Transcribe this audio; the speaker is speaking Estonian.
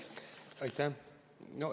Aitäh!